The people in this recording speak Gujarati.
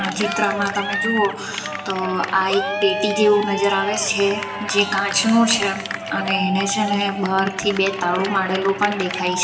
ચિત્રમાં તમે જુઓ તો આ એક પેટી જેવું નજર આવે છે જે કાચનું છે અને એને છે ને બહારથી બે તાળું મારેલું પણ દેખાય છે.